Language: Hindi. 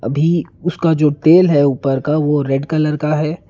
उसका जो टेल है ऊपर का वो रेड कलर का है।